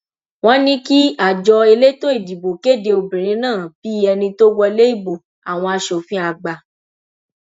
wọn ní kí àjọ elétò ìdìbò kéde obìnrin náà bíi ẹni tó wọlé ìbò àwọn asòfin àgbà